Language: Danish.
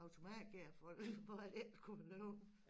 Automatgear for for at det skulle være lyv